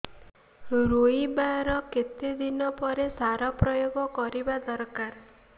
ରୋଈବା ର କେତେ ଦିନ ପରେ ସାର ପ୍ରୋୟାଗ କରିବା ଦରକାର